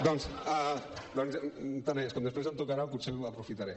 tant és com després em tocarà potser ho aprofitaré